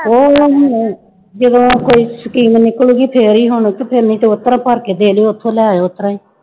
ਜਦੋਂ ਕੋਈ scheme ਨਿਕਲ ਗਈ ਫਿਰ ਹੀ ਹੋਣੇ ਤੇ ਫਿਰ ਭਰ ਕੇ ਫਿਰ ਉੱਥੋਂ ਲੈ ਆਇਓ ਉਸ ਤਰ੍ਹਾਂ ਹੀ